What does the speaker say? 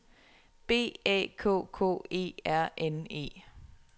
B A K K E R N E